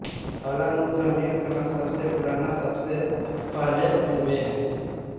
कालानुक्रमिक क्रम सबसे पुराना सबसे पहले में वे हैं